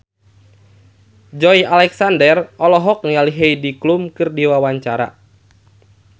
Joey Alexander olohok ningali Heidi Klum keur diwawancara